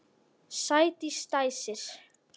Sædís dæsir.